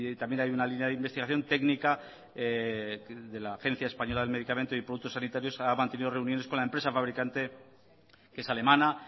también hay una línea de investigación técnica de la agencia española del medicamento y productos sanitarios ha mantenido reuniones con la empresa fabricante que es alemana